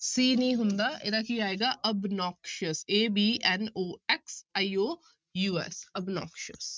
c ਨੀ ਹੁੰਦਾ ਇਹਦਾ ਕੀ ਆਏਗਾ obnoxious A B N O X I O U S obnoxious